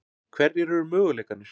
Hverjir eru möguleikarnir?